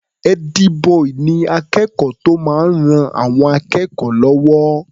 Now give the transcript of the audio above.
Ẹ́dí-bọì ni akẹ́kọ̀ọ́ tó máa ń ran àwọn akẹ́kọ̀ọ́ lọ́wọ́.